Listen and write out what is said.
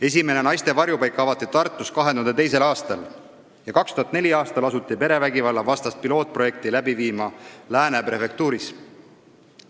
Esimene naiste varjupaik avati Tartus 2002. aastal ja 2004. aastal asuti perevägivalla vastast pilootprojekti läbi viima Lääne prefektuuris.